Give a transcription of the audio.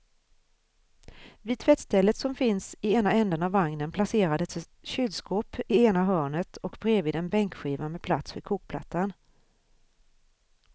Vid tvättstället som finns i ena ändan av vagnen placerades ett kylskåp i ena hörnet och bredvid en bänkskiva med plats för kokplattan.